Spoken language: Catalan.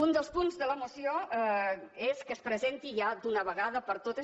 un dels punts de la moció és que es presenti ja d’una vegada per totes